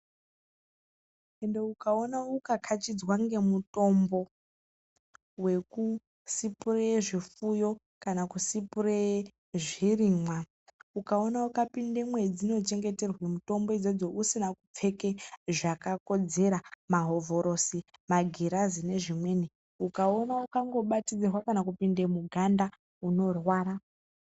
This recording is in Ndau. Ende ukaona ukakhachidzwa ngemutombo wekusipureye zvifuyo kana kusipureye zvirimwa, ukaona ukapinda mwadzinochengeterwa mitombo idzodzo usina kupfeke zvakakodzera mahovhorosi, magirazi nezvimweni. Ukaona ukangobatidzirwa kana kupinde muganda unorwara.